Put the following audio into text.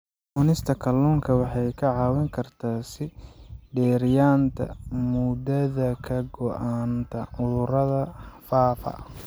Cunista kalluunku waxay kaa caawin kartaa sii dheeraynta muddada ka go'naanta cudurrada faafa.